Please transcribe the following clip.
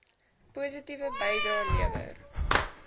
positiewe bydrae lewer